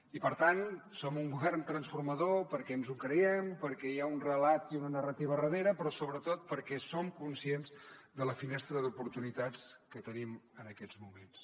i per tant som un govern transformador perquè ens ho creiem perquè hi ha un relat i una narrativa darrera però sobretot perquè som conscients de la finestra d’oportunitats que tenim en aquests moments